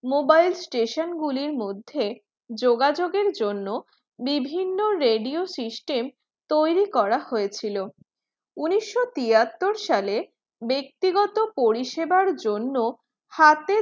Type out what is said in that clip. mobile station গুলির মধ্যে যোগাযোগের জন্য বিভিন্ন radio system তৈরী করা হয়েছিল উনিশশো তিয়াত্তর সালে ব্যক্তিগত পরিষেবার জন্য হাতে